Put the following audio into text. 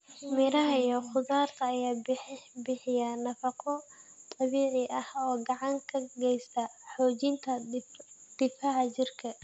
Miraha iyo khudaarta ayaa bixiya nafaqo dabiici ah oo gacan ka geysta xoojinta difaaca jirka.